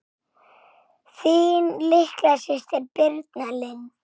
Þín litla systir Birna Lind.